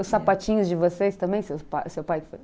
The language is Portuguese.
Os sapatinhos de vocês também, seu pai?